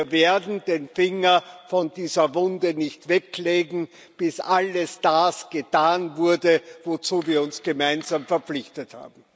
Wir werden den Finger nicht von dieser Wunde wegnehmen, bis alles das getan wurde, wozu wir uns gemeinsam verpflichtet haben.